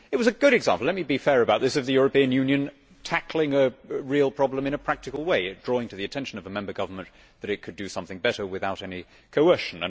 It was a good example let me fair about this of the European Union tackling a real problem in a practical way, drawing to the attention of a member government that it could do something better without any coercion.